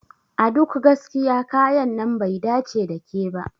A duk gaskiya kayan nan bai dace da ke ba.